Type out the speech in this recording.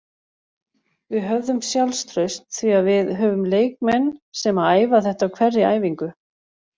Við höfðum sjálfstraust því að við höfum leikmenn sem að æfa þetta á hverri æfingu.